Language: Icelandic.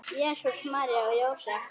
Jesús, María og Jósef!